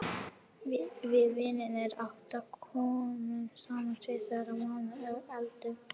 Við vinirnir átta komum saman tvisvar í mánuði og eldum.